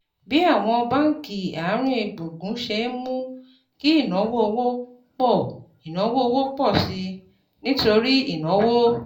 Bí àwọn báńkì àárín gbùngbùn ṣe ń mú kí ìnáwó owó pọ̀ ìnáwó owó pọ̀ sí i nítorí ìnáwó